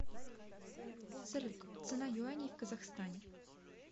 салют цена юаней в казахстане